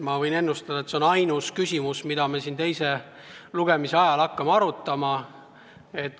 Ma võin ennustada, et see on ainus küsimus, mida me siin teise lugemise ajal hakkame arutama.